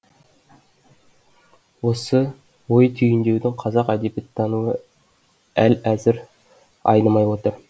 осы ой түйіндеуден қазақ әдебиеттануы әл әзір айнымай отыр